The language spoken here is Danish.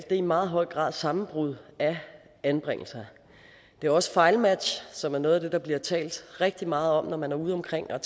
i meget høj grad sammenbrud af anbringelser det er også fejlmatch som er noget af det der bliver talt rigtig meget om når man er udeomkring og